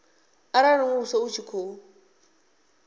arali muvhuso u tshi khou